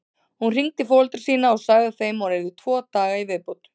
Hún hringdi í foreldra sína og sagði þeim að hún yrði tvo daga í viðbót.